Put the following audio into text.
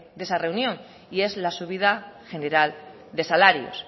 de esa reunión y es la subida general de salarios